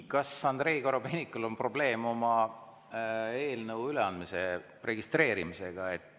Kas Andrei Korobeinikul on probleem oma eelnõu üleandmise registreerimisega?